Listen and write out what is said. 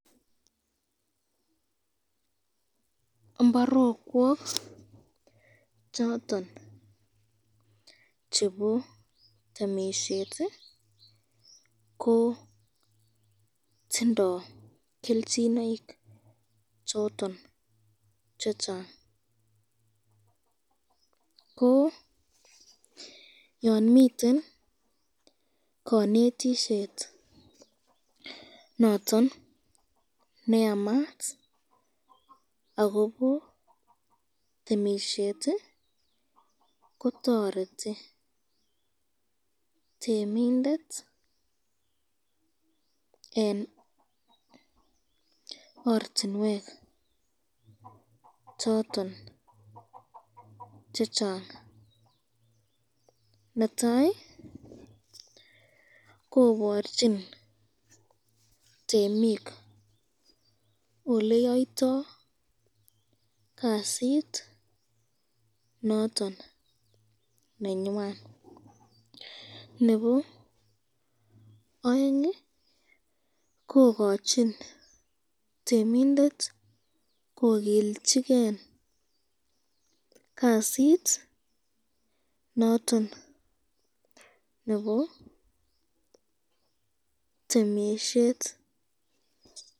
mbarokwok choton chebo temisyet, ko tindo kelchinoik choton chechang ,ko Yan miten kanetisyet noton neyamat akobo temisyet kotoreti temindet eng ortinwek choton chechang, netai koborchin temik oleyaito kasit noton nenywan, nebo aeng kokachin temindet kokilchiken kasit noton nebo temisyet.